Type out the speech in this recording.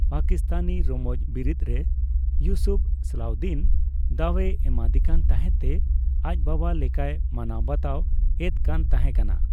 ᱯᱟᱠᱤᱥᱛᱟᱱᱤ ᱨᱚᱢᱚᱡᱽ ᱵᱤᱨᱤᱛ ᱨᱮ ᱤᱭᱩᱥᱩᱯᱷ ᱥᱟᱞᱟᱦᱫᱤᱱ ᱫᱟᱣᱮ ᱮᱢᱟ ᱫᱤᱠᱟᱱ ᱛᱟᱦᱮᱱ ᱛᱮ ᱟᱡ ᱵᱟᱵᱟ ᱞᱮᱠᱟᱭ ᱢᱟᱱᱟᱣ ᱵᱟᱛᱟᱣ ᱮᱫ᱾ᱠᱟᱱ ᱛᱟᱦᱮ ᱠᱟᱱᱟ।